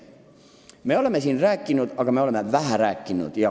Me oleme siin sellest rääkinud, aga vähe.